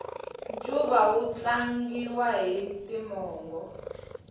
ncuva wu tlangiwa hi timongo